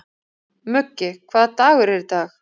Muggi, hvaða dagur er í dag?